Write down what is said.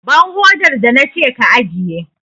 Ban hodar da na ce ka ajiye!